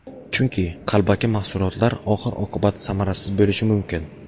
Chunki, qalbaki mahsulotlar oxir oqibat samarasiz bo‘lishi mumkin.